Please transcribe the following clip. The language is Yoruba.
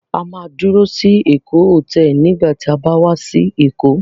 A máa dúró sí Èkó Hòtẹ́ẹ́lì nígbà tí a bá wá sí Èkó.